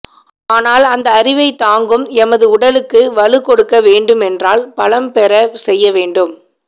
ஆனால் அந்த அறிவைத் தாங்கும் எமது உடலுக்கு வலு கொடுக்க வேண்டும் என்றால் பலம் பெறச் செய்ய வேண்டும்